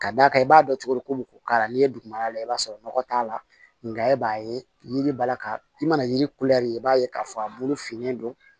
Ka d'a kan i b'a dɔn cogo di ko k'a la n'i ye dugumana lay'a sɔrɔ nɔgɔ t'a la e b'a ye yiri b'a la ka i mana yiri i b'a ye k'a fɔ a bolo finnen don